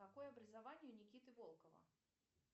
какое образование у никиты волкова